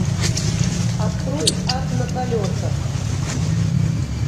открой ад на колесах